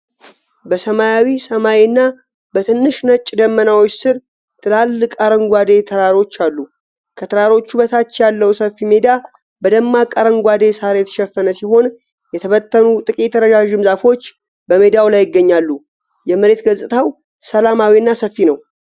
በሰማያዊ ሰማይ እና በትንሽ ነጭ ደመናዎች ስር ትላልቅ አረንጓዴ ተራሮች አሉ። ከተራሮቹ በታች ያለው ሰፊ ሜዳ በደማቅ አረንጓዴ ሳር የተሸፈነ ሲሆን፣ የተበተኑ ጥቂት ረዣዥም ዛፎች በሜዳው ላይ ይገኛሉ። የመሬት ገጽታው ሰላማዊና ሰፊ ነው።